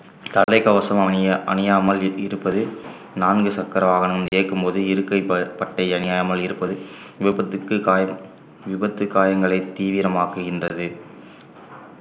தலைக்கவசம் அணிய ~அணியாமல் இருப்பது நான்கு சக்கர வாகனம் இயக்கும்போது இருக்கை ப~ பட்டை அணியாமல் இருப்பது விபத்துக்கு காய~ விபத்து காயங்களை தீவிரமாக்குகின்றது